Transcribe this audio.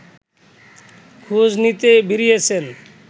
খোঁজ নিতে বেরিয়েছেন